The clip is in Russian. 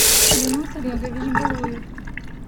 юнус олегович галуев